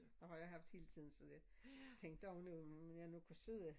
Det har jeg haft hele tiden så jeg tænkte om nu jeg nu kunne sidde